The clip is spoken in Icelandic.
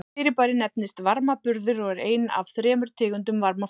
Fyrirbærið nefnist varmaburður og er ein af þremur tegundum varmaflutnings.